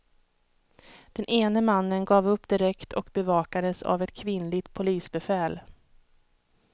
Den ene mannen gav upp direkt och bevakades av ett kvinnligt polisbefäl.